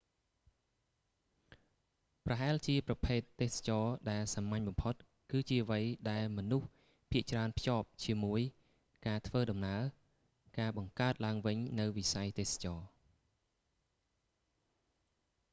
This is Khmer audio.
ប្រហែលជាប្រភេទ ទេសចរណ៍ដែលសាមញ្ញបំផុត គឺជាអ្វីដែលមនុស្សភាគច្រើនភ្ជាប់ជាមួយការធ្វើដំណើរ ការបង្កើតឡើងវិញនូវវិស័យទេសចរណ៍